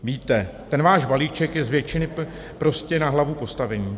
Víte, ten váš balíček je z většiny prostě na hlavu postavený.